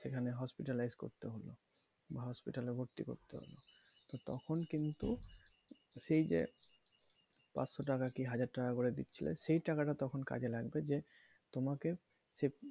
সেখানে hospitalized করতে হলো বা hospital এ ভর্তি করতে হলো তো তখন কিন্তু সেই যে পাঁচশো টাকা কি হাজার টাকা করে দিচ্ছিলে সেই টাকাটা তখন কাজে লাগবে যে তোমাকে সে,